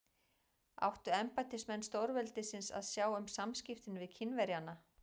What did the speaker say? Áttu embættismenn stórveldisins að sjá um samskiptin við Kínverjana?